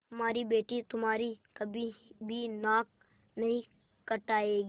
हमारी बेटी तुम्हारी कभी भी नाक नहीं कटायेगी